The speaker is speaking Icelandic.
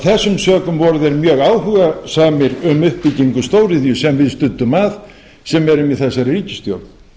þessum sökum voru þeir mjög áhugasamir um uppbyggingu stóriðju sem við studdum að sem erum í þessari ríkisstjórn